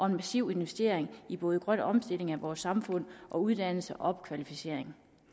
en massiv investering i både grøn omstilling af vores samfund og uddannelse og opkvalificering